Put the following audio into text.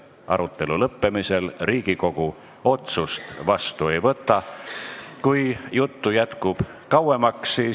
Arutelu lõppemisel Riigikogu otsust vastu ei võta.